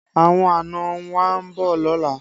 Àwọn àna wa ń bọ̀ lọ́la